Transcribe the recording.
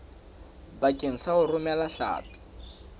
bakeng sa ho romela hlapi